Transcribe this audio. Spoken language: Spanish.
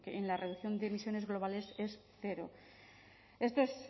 en la reducción de emisiones globales cero esto es